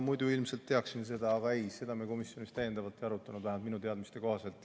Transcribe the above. Muidu ma ilmselt teaksin seda, aga ei, seda me komisjonis täiendavalt ei arutanud, vähemalt minu teadmiste kohaselt.